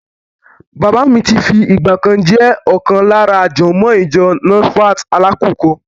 Bàbá mi ti fi ìgbà kan jẹ́ ọ̀kan lára jọ̀mọ́ọ̀ ìjọ Nasfat Alákùkọ.